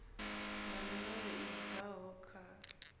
ya mulayo i bvaho kha